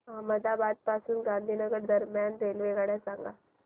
अहमदाबाद पासून गांधीनगर दरम्यान रेल्वेगाडी सांगा